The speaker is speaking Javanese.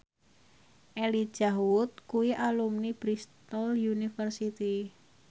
Elijah Wood kuwi alumni Bristol university